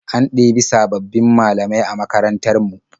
An ɗebi sabbabin malamai a makarantar mu.